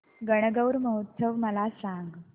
गणगौर उत्सव मला सांग